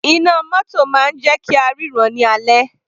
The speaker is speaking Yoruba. Iná mótò máa ń jẹ́ kí á ríran ní alẹ́.